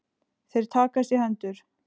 Þeir takast í hendur.